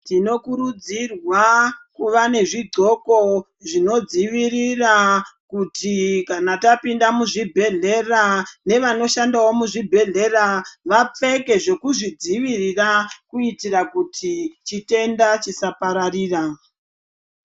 Tinokurudzirwa kuva nezvidhloko zvinodzivirira kuti kana tapinda muzvibhehlera, nevanoshandawo muzvibhehlera vapfeke zvekuzvidzivirira kuitira kuti chitenda chisapararira.